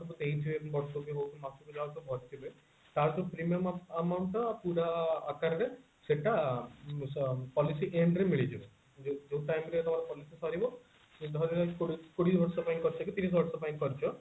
ମାସକୁ ଯାହାସବୁ କରିଥିବେ ତାଠୁ premium amount ଟା ପୁରା ଆକାରରେ ସେଟା ଉଁ policy end ରେ ମିଳିଯିବ ଯୋଉ time ରେ ତମର policy ସରିବ ଧରିବା ଏଇ କୋଡିଏ କୋଡିଏ ମସିହା ପାଇଁ କରିଛ କି ତିରିଶି ମସିହା ପାଇଁ କରିଛ କି ତିରିଶି ବର୍ଷ ପାଇଁ କରିଛ